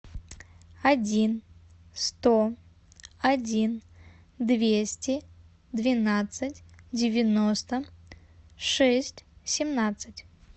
один сто один двести двенадцать девяносто шесть семнадцать